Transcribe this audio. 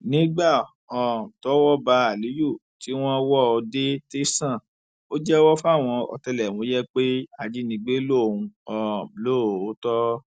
nígbà um tọwọ bá aliyu tí wọn wò ó dé tẹsán ò jẹwọ fáwọn ọtẹlẹmúyẹ pé ajínigbé lòun um lóòótọ